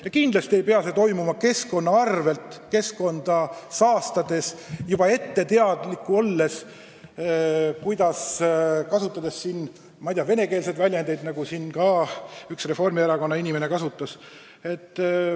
Ja kindlasti ei pea see tootmine toimuma keskkonna arvel, keskkonda saastades, sellest juba ette teadlik olles ja kasutades, ma ei tea, venekeelseid väljendeid, nagu siin üks Reformierakonna liige kasutas.